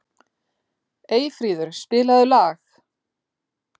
Eyfríður, spilaðu lag.